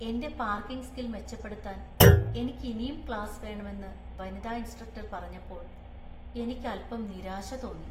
എന്‍റെ parking skill‍ മെച്ചപ്പെടുത്താന്‍ എനിക്ക് ഇനീം ക്ലാസ് വേണമെന്നു വനിതാ ഇൻസ്ട്രക്ടർ പറഞ്ഞപ്പോൾ എനിക്ക് അൽപ്പം നിരാശ തോന്നി.